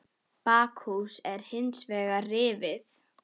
Bakhús er hins vegar rifið.